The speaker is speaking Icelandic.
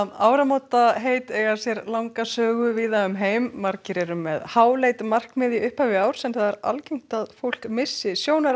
áramótaheit eiga sér langa sögu víða um heim margir eru með háleit markmið í upphafi árs en algengt er að fólk missi sjónar á